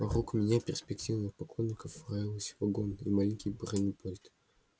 вокруг меня перспективных поклонников роилось вагон и маленький бронепоезд